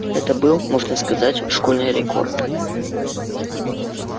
это был можно сказать школьный рекорд